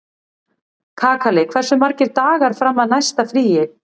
Kakali, hversu margir dagar fram að næsta fríi?